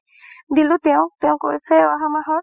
দিলো তেওঁক, তেওঁ কৈছে আহা মাহত